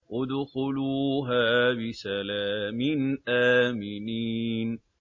ادْخُلُوهَا بِسَلَامٍ آمِنِينَ